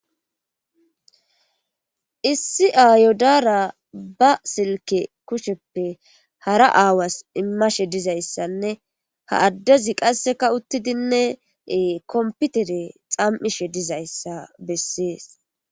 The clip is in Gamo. issi aayodaara ba silke kusheppe hara aawas immashe dizayssanne ha addezi qasseka uttidinne komputere xam7ishe dizayssa bessees